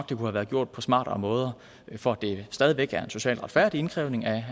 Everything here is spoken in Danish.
det kunne være gjort på smartere måder for at det stadig væk er en social retfærdig indkrævning af